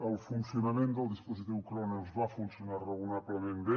el funcionament del dispositiu cronos va funcionar raonablement bé